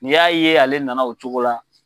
U y'a ye ale nana o cogo la.